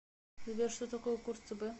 сбер что такое курс цб